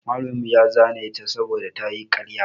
Malamin mu ya zane ta saboda ta yi ƙarya.